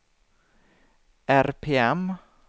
RPM